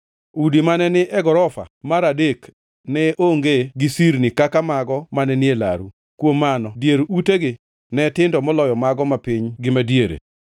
Udi mane ni e gorofa mar adek ne onge gi sirni kaka mago mane ni e laru; kuom mano dier utegi ne tindo moloyo mago mapiny gi madiere.